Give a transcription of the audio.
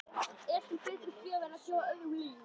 Er til betri gjöf en að gefa öðrum líf?